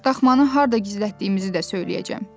Daxmanı harda gizlətdiyimizi də söyləyəcəm.